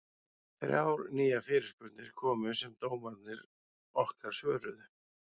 Þrjár nýjar fyrirspurnir komu sem dómararnir okkar svöruðu.